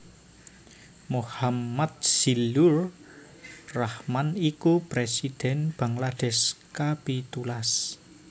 Mohammad Zillur Rahman iku présidhèn Bangladesh kapitulas